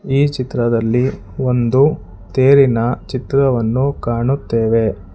ಈ ಚಿತ್ರದಲ್ಲಿ ಒಂದು ತೇರಿನ ಚಿತ್ರವನ್ನು ಕಾಣುತ್ತೇವೆ.